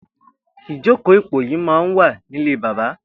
Ijókó ipóyì mà n wà nilé bàbà